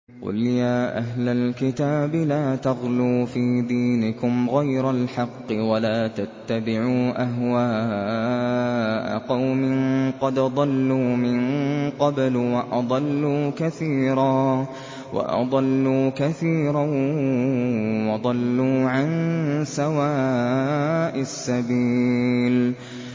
قُلْ يَا أَهْلَ الْكِتَابِ لَا تَغْلُوا فِي دِينِكُمْ غَيْرَ الْحَقِّ وَلَا تَتَّبِعُوا أَهْوَاءَ قَوْمٍ قَدْ ضَلُّوا مِن قَبْلُ وَأَضَلُّوا كَثِيرًا وَضَلُّوا عَن سَوَاءِ السَّبِيلِ